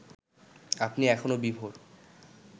আপনি এখনো বিভোর